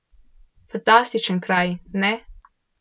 Fantastičen kraj, ne?